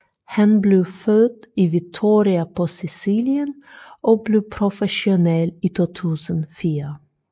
Han blev født i Vittoria på Sicilien og blev professionel i 2004